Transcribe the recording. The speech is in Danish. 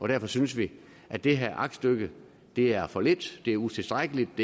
derfor synes vi at det her aktstykke er for lidt det er utilstrækkeligt og